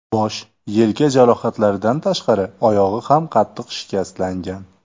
Bosh, yelka jarohatlaridan tashqari, oyog‘i ham qattiq shikastlangan.